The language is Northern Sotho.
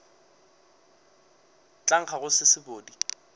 tla nkga go se sebodi